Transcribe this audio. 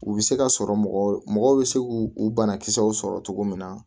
U bɛ se ka sɔrɔ mɔgɔ bɛ se k'u banakisɛw sɔrɔ cogo min na